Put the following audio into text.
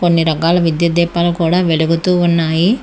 అన్ని రకాల విద్యుత్ దీపాలు కూడా వెలుగుతూ ఉన్నాయి.